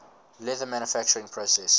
leather manufacturing process